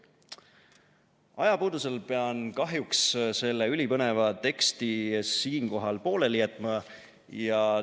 " Ajapuudusel pean kahjuks selle ülipõneva teksti siinkohal pooleli jätma.